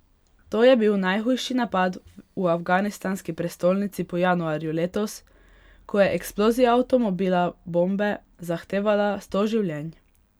To je bil najhujši napad v afganistanski prestolnici po januarju letos, ko je eksplozija avtomobila bombe zahtevala sto življenj.